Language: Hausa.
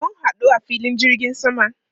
Mun hadu a filin jirgin sama.